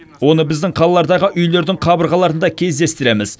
оны біздің қалалардағы үйлердің қабырғаларында кездестіреміз